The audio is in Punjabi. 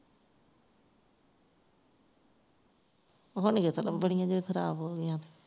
ਬਣਾਓਣੀ ਆਂ ਕਿੱਥੋਂ ਜਦੋਂ ਖਰਾਬ ਹੋ ਗਈਆਂ